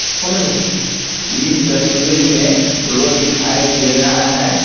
इस तस्वीर में रोड दिखाई दे रहा है।